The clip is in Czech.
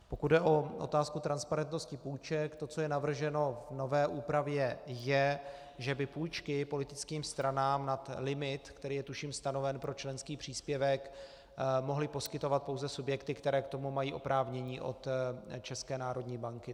Pokud jde o otázku transparentnosti půjček, to, co je navrženo v nové úpravě je, že by půjčky politickým stranám nad limit, který je tuším stanoven pro členský příspěvek, mohly poskytovat pouze subjekty, které k tomu mají oprávnění od České národní banky.